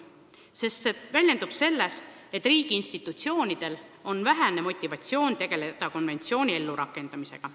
See väljendub selles, et riigi institutsioonidel on vähene motivatsioon tegelda konventsiooni ellurakendamisega.